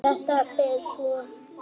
Þetta ber svo brátt að.